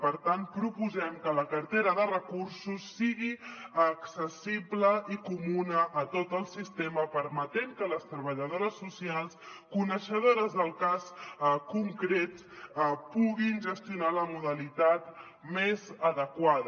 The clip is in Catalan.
per tant proposem que la cartera de recursos sigui accessible i comuna a tot el sistema permetent que les treballadores socials coneixedores del cas concret puguin gestionar la modalitat més adequada